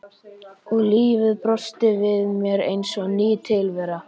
Og lífið brosti við mér eins og ný tilvera.